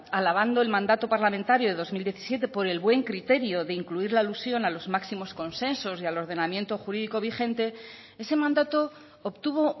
alabando el mandato parlamentario de dos mil diecisiete por el buen criterio de incluir la alusión a los máximos consensos y al ordenamiento jurídico vigente ese mandato obtuvo